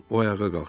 O ayağa qalxdı.